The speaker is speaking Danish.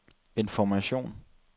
information